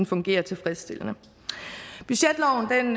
fungerer tilfredsstillende budgetloven